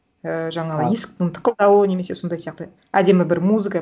і жаңағы есіктің тықылдауы немесе сондай сияқты әдемі бір музыка